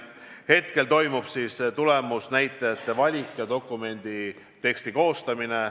Hetkel toimub tulemusnäitajate valik ja dokumendi teksti koostamine.